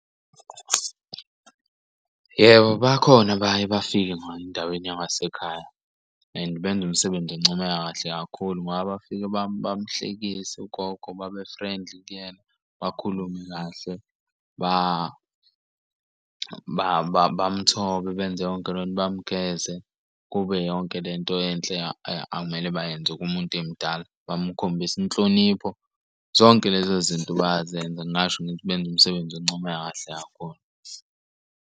Yebo, bakhona abaye bafike ngayo endaweni yangasekhaya and benza umsebenzi encomeka kahle kakhulu ngoba bafika bamhlekise ugogo babe friendly kuyena, bakhulume kahle. Bam'thobe benze yonke lonto, bamgeze kube yonke lento enhle akumele bayenze kumuntu emdala, bamukhombise inhlonipho. Zonke lezo zinto bayazenza ngingasho ngithi benza umsebenzi oncomeka kahle kakhulu.